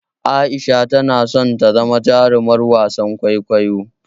Aisha tana son ta zama jarumar wasan kwaikwayo.